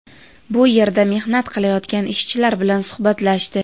bu yerda mehnat qilayotgan ishchilar bilan suhbatlashdi.